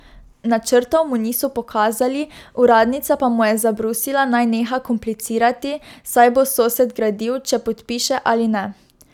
Načrtov mu niso pokazali, uradnica pa mu je zabrusila, naj neha komplicirati, saj bo sosed gradil, če podpiše ali ne.